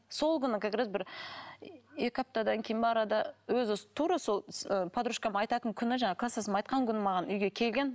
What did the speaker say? сол күні как раз бір екі аптадан кейін бе арада өзі тура сол ы подружкам айтатын күні жаңағы кластасым айтқан күні маған үйге келген